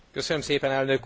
Biztos Úr!